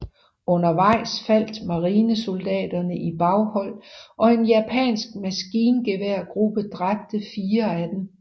Undervejs faldt marinesoldaterne i baghold og en japansk maskingeværgruppe dræbte fire af dem